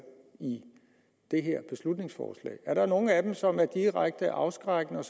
i det her beslutningsforslag er der nogen af dem som er direkte afskrækkende og